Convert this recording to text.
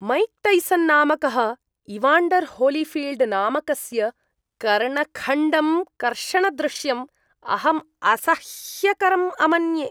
Mike Tyson नामकः Evander Holyfield नामकस्य कर्णखण्डं कर्षणदृश्यम् अहम् असह्यकरम् अमन्ये।